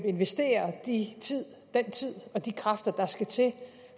investere den tid og de kræfter der skal til